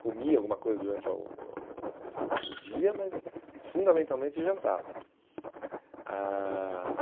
comia alguma coisa durante a o o o dia, mas fundamentalmente jantava. Ãh